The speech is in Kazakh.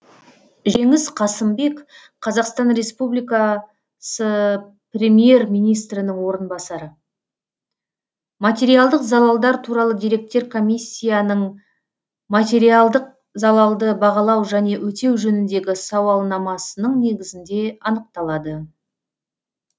жеңіс қасымбек қазақстан республикасы премьер министрінің орынбасары материалдық залалдар туралы деректер комиссияның материалдық залалды бағалау және өтеу жөніндегі сауалнамасының негізінде анықталады